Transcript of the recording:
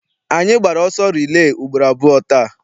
Anyị gbara ọsọ rilee ugboro abụọ taa.